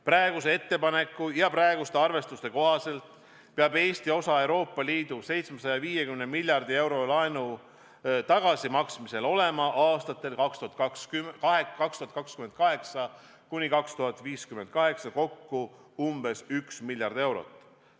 Praeguse ettepaneku ja praeguste arvestuste kohaselt peab Eesti osa Euroopa Liidu 750 miljardi eurose laenu tagasimaksmisel olema aastatel 2028–2058 kokku umbes üks miljard eurot.